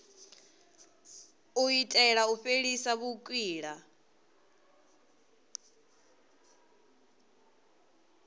u itela u fhelisa vhukwila